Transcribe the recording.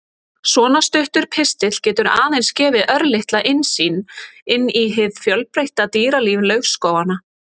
Svona stuttur pistill getur aðeins gefið örlitla innsýn inn í hið fjölbreytta dýralíf laufskóganna.